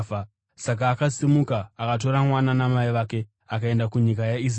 Saka akasimuka akatora mwana namai vake akaenda kunyika yeIsraeri.